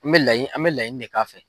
N mɛ laɲini an mɛ laɲini ne k'a fɛ.